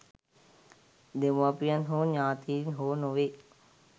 දෙමව්පියන් හෝ ඤාතීන් හෝ නොවෙයි.